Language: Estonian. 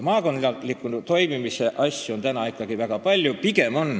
Maakondlikke ühise tegemise ja toimimise asju on seal ikkagi väga palju.